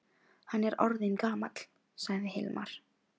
Hann er orðinn gamall, sagði Hilmar.